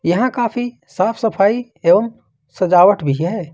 यहां काफी साफ सफाई एवं सजावट भी है।